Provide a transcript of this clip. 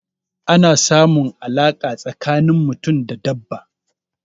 Ana samun alaƙa tsakanin mutum da dabba.